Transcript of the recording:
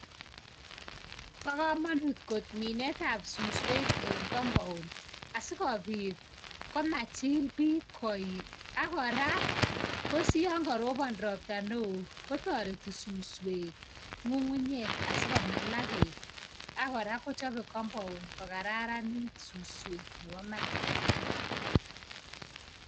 Bo kamanut kot minetab suswek eng compound asi kobit komachil bik koik akora kosiyon karobon ropta neo kotoreti suswek nyukunyek asiko mala beek ak kora kochobei compound ko kararanit suswek.